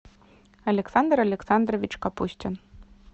александр александрович капустин